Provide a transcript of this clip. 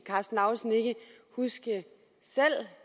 karsten lauritzen ikke huske